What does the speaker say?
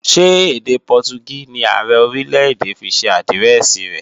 Ṣé èdè Pọtugí ni Ààrẹ Orílè-èdè fi ṣe àdírẹ́ẹ̀sì rẹ̀?